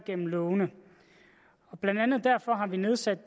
gennem lovene blandt andet derfor har vi nedsat